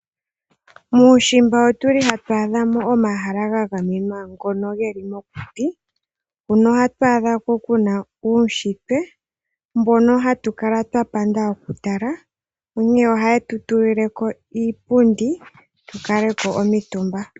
Muushimba otuli hatu adhamo omahala gagamenwa ngono geli mokuti. Huno ohatu adhako kuna uushitwe mbono hatu kala twapanda okutala onkene ohaye tu tulileko iipundi tukaleko omitumba.